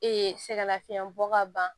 sɛgɛn lafiɲɛn bɔ ka ban